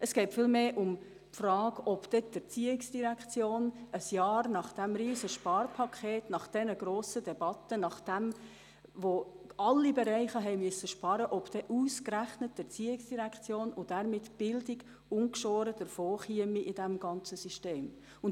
Es geht vielmehr um die Frage, ob ein Jahr nach diesem riesigen Sparpaket, nach diesen grossen Debatten, nachdem sämtliche Bereiche Einsparungen vornehmen mussten, dann ausgerechnet die ERZ und damit die Bildung in diesem System ungeschoren davon kommt.